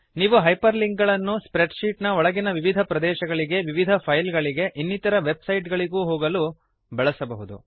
ನೀವು hyperlink ಗಳನ್ನು spreadsheet ಒಳಗಿನ ವಿವಿಧ ಪ್ರದೇಶಗಳಿಗೆ ವಿವಿಧ ಫೈಲ್ ಗಳಿಗೆ ಇನ್ನಿತರ ವೆಬ್ ಸೈಟ್ ಗಳಿಗೂ ಹೋಗಲು ಬಳಸಬಹುದು